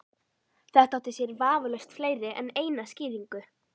Þetta átti sér vafalaust fleiri en eina skýringu.